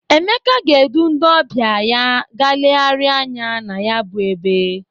Emeka ga-edu ndị ọbịa ya ga legharịa anya na ya bụ ebe.